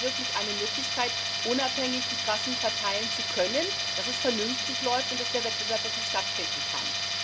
Wir brauchen wirklich eine Möglichkeit, unabhängig die Trassen verteilen zu können, damit es vernünftig läuft und der Wettbewerb wirklich stattfinden kann.